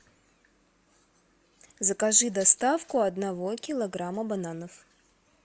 закажи доставку одного килограмма бананов